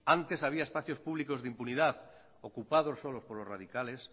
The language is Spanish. antes había espacios públicos de impunidad ocupados solo por los radicales